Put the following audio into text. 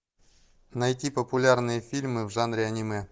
найти популярные фильмы в жанре аниме